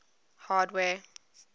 hardware